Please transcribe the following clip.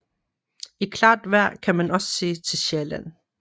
I klart vejr kan man også se til Sjælland